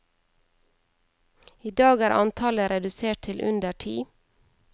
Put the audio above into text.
I dag er antallet redusert til under ti.